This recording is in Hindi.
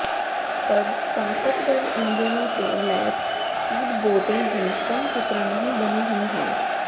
पर ताकतवर इंजनों से लैस स्पीड बोटें भी कम खतरा नहीं बनी हुई हैं